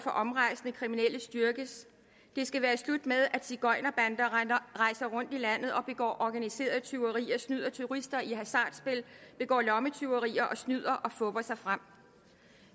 omrejsende kriminelle styrkes det skal være slut med at zigøjnerbander rejser rundt i landet og begår organiseret tyveri og snyder turister i hasardspil begår lommetyverier og snyder og fupper sig frem